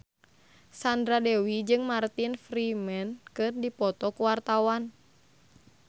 Sandra Dewi jeung Martin Freeman keur dipoto ku wartawan